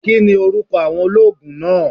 Kini oruko awon oloogun naa?